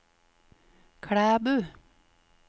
Klæbu